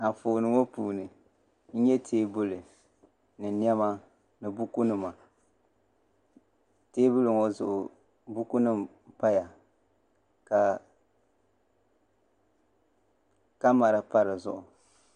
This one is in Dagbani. Anfooni ŋɔ puuni n nyɛ teebuli ni niɛma ni buku nima teebuli zuɣu buku nim n paya ka kamɛra pa dizuɣu